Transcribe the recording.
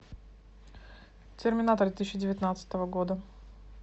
терминатор две тысячи девятнадцатого года